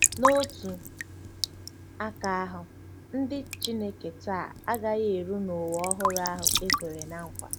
N’otu aka ahụ, ndị Chineke taa agaghị eru n’ụwa ọhụrụ ahụ e kwere ná nkwa.